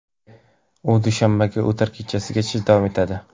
U dushanbaga o‘tar kechasigacha davom etadi.